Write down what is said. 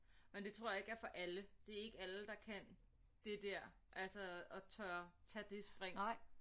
Men det tror jeg ikke er for alle det er ikke alle der kan det der altså at tør tage det spring